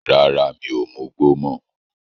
Rárá, mi ò mugbó mọ́.